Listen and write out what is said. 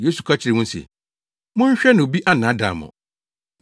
Yesu ka kyerɛɛ wɔn se, “Monhwɛ na obi annaadaa mo.